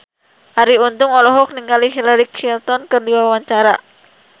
Arie Untung olohok ningali Hillary Clinton keur diwawancara